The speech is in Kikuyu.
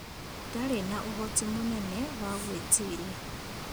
Ndarĩ na ũhoti mũnene wa gwĩtiria